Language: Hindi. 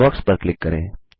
इनबॉक्स पर क्लिक करें